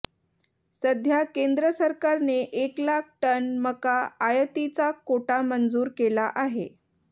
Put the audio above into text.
सध्या केंद्र सरकारने एक लाख टन मका आयातीचा कोटा मंजूर केला आहे